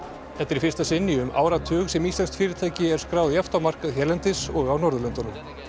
þetta er í fyrsta sinn í um áratug sem íslenskt fyrirtæki er skráð jafnt á markað hérlendis og á Norðurlöndunum